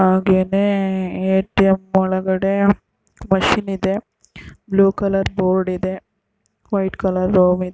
ಆಗೇನೇ A T M ಒಳಗಡೆ machine ಇದೆ blue colour board ಇದೆ. ವೈಟ್ ಕಲರ್ ರೂಮ್ ಇದ್ --